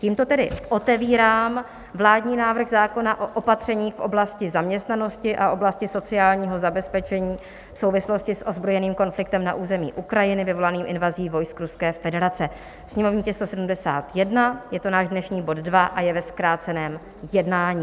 Tímto tedy otevírám vládní návrh zákona o opatřeních v oblasti zaměstnanosti a oblasti sociálního zabezpečení v souvislosti s ozbrojeným konfliktem na území Ukrajiny vyvolaným invazí vojsk Ruské federace, sněmovní tisk 171, je to náš dnešní bod 2 a je ve zkráceném jednání.